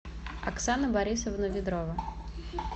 оксана борисовна ведрова